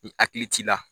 I hakili t'i la